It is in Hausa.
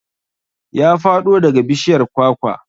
Ya faɗo daga bishiyar kwakwa